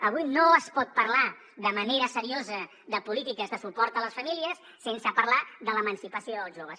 avui no es pot parlar de manera seriosa de polítiques de suport a les famílies sense parlar de l’emancipació dels joves